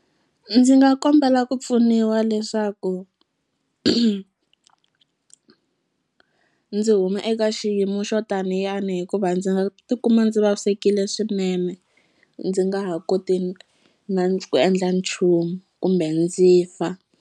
Ndzi nga kombela ku pfuniwa leswaku ndzi huma eka xiyimo xo taniyani hikuva ndzi nga tikuma ndzi vavisekile swinene ndzi nga ha koti na ku endla nchumu kumbe ndzi fa.